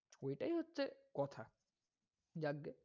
ওইটায় হচ্ছে কথা। জাজ্ঞে,